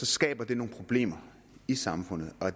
skaber nogle problemer i samfundet og